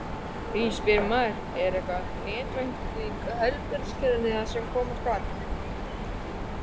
Því spyr maður: Er netvæðing heilbrigðiskerfisins það sem koma skal?